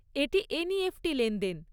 এটি এনইএফটি লেনদেন।